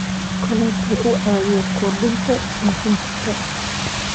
Kalluunku wuxuu caawiyaa kordhinta dhoofinta.